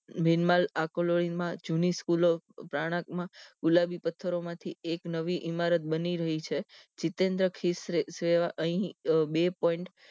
ભીન્મા માં જૂની સ્કૂલ માં પ્રનાક માંગુલાબી પથ્થરો માંથી એક નવી ઈમારત બની રહી છે જીતેન્દ્ર ખીશ્રે અહી બે point